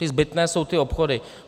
Ty zbytné jsou ty obchody.